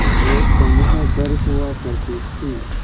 एक समूह भर हुआ करती थी